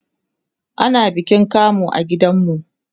ana bikin kamu a gidan mu